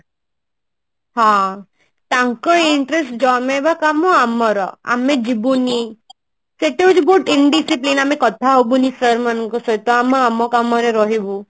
ହଁ ତାଙ୍କ interest ଜମେଇବା କମ ଆମର ଆମେ ଯିବୁନି ସେଠି ହଉଛି ଆମେ ବହୁତ Indiscipline ଆମେ କଥା ହବୁନି sir ମାନଙ୍କ ସହିତ ଆମ ଆମ କାମରେ ରହିବୁ